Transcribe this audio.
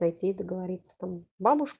пойти и договориться там бабушка